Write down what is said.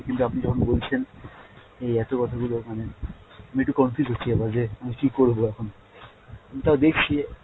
কিন্তু আপনি যখন বলছেন এই এতো কথা গুলো, মানে আমি একটু confuse হচ্ছি এবার যে আমি কী করবো এখন। আমি তাও দেখছি।